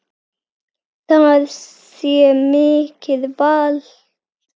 Það sé mikið vald.